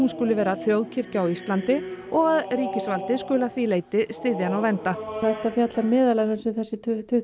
skuli vera þjóðkirkja á Íslandi og að ríkisvaldið skuli að því leyti styðja hana og vernda þetta fjallar meðal annars um þessi